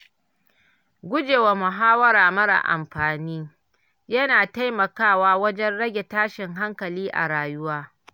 Gujewa muhawara marar amfani yana taimakawa wajen rage tashin hankali a rayuwa.